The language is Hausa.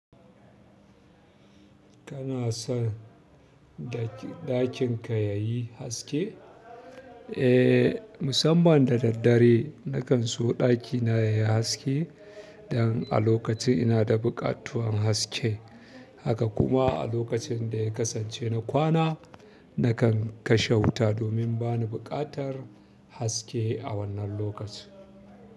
Kana son da ɗakin ka ya yi haske? Eh, musamman da daddare, nakan so ɗaki na yai haske don a lokacin ina da buƙatuwan haske. Haka kuma a lokacin da ya kasance na kwana, na kan kashe wuta domin bani buƙatar haske a wannan lokacin.